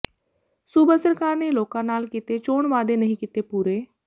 ਸੂਬਾ ਸਰਕਾਰ ਨੇ ਲੋਕਾਂ ਨਾਲ ਕੀਤੇ ਚੋਣ ਵਾਅਦੇ ਨਹੀਂ ਕੀਤੇ ਪੂਰੇ